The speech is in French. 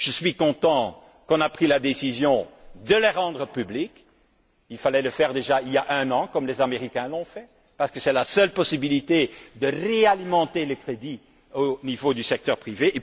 Je suis content que la décision de les rendre publics ait été prise. Il fallait le faire déjà il y a un an, comme les Américains, parce que c'est la seule possibilité de réalimenter les crédits au niveau du secteur privé.